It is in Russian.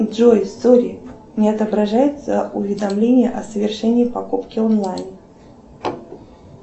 джой сорри не отображается уведомление о совершении покупки онлайн